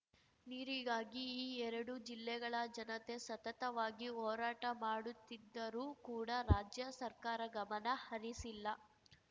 ನೀರಿಗಾಗಿ ಈ ಎರಡು ಜಿಲ್ಲೆಗಳ ಜನತೆ ಸತತವಾಗಿ ಹೋರಾಟ ಮಾಡುತ್ತಿದ್ದರೂ ಕೂಡ ರಾಜ್ಯ ಸರ್ಕಾರ ಗಮನ ಹರಿಸಿಲ್ಲ